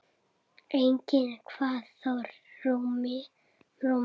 Enginn kvað þó rímu.